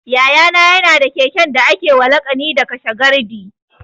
Yaya na ya na da keken da ake wa laƙani da 'kashe gardi'